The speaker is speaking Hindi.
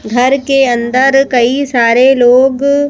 घर के अंदर कई सारे लोग--